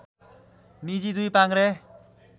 निजी दुई पाङ्ग्रे